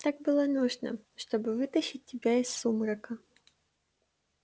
так было нужно чтобы вытащить тебя из сумрака